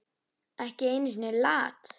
Ekki einu sinni Lat.